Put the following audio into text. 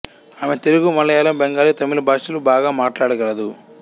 ఆమె తెలుగు మలయాళం బెంగాలీ తమిళ భాషలు బాగా మాట్లాడగలదు